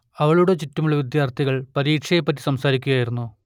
അവളുടെ ചുറ്റുമുള്ള വിദ്യാർത്ഥികൾ പരീക്ഷയെ പറ്റി സംസാരിക്കുകയായിരുന്നു